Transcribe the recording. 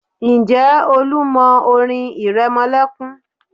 Ǹjẹ́ Olú mọ orin ìrẹmọlẹ́kún?